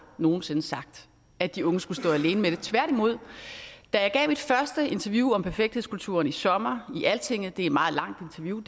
nogen sinde sagt at de unge skulle stå alene med det tværtimod da jeg gav mit første interview om perfekthedskulturen i sommer i altinget det er et meget langt interview